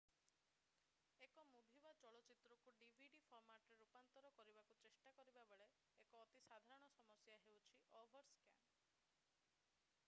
1 movie ବା ଚଳଚ୍ଚିତ୍ରକୁ DVD ଫର୍ମାଟରେ ରୂପାନ୍ତର କରିବାକୁ ଚେଷ୍ଟା କରିବାବେଳେ ଏକ ଅତି ସାଧାରଣ ସମସ୍ୟା ହେଉଛି ଓଭରସ୍କାନ୍